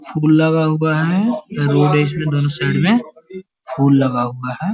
फूल लगा हुआ है। रोड दोनों साइड में फूल लगा हुआ है। .